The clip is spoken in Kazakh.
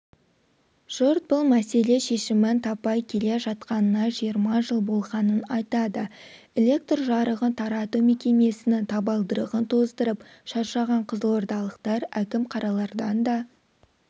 жұрт бұл мәселе шешімін таппай келе жатқанына жиырма жыл болғанын айтады электр жарығын тарату мекемесінің табалдырығын тоздырып шаршаған қызылордалықтар әкім-қаралардан да